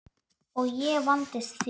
Og ég vandist því.